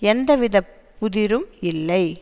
எந்தவித புதிரும் இல்லை